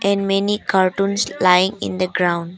And many cartoons lying in the ground.